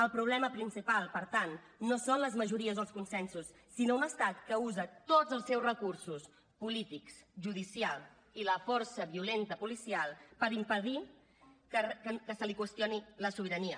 el problema principal per tant no són les majories o els consensos sinó un estat que usa tots els seus recursos polítics judicials i la força violenta policial per impedir que se li qüestioni la sobirania